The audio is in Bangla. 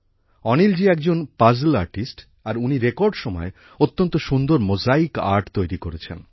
অনিল জী একজন পাজ্ল আর্টিস্ট আর উনি রেকর্ড সময়ে অত্যন্ত সুন্দর মোজাইক আর্ট তৈরি করেছেন